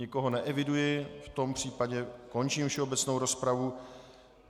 Nikoho neeviduji, v tom případě končím všeobecnou rozpravu.